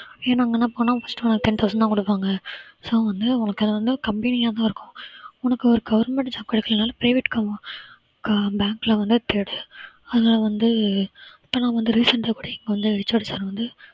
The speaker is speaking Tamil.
ஏன்னா அங்கெல்லாம் போனா first ten thousand தான் கொடுப்பாங்க so வந்து உனக்கு அது வந்து கம்மியாத்தான் இருக்கும் உனக்கு ஒரு government job கிடைக்கலைனாலும் private அஹ் bank வந்து கிடை~ அதுல வந்து இப்பலாம் வந்து recent அ கூட இங்க வந்து HOD sir வந்து